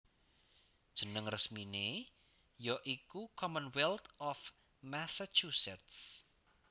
Jeneng resminé ya iku Commonwealth of Massachusetts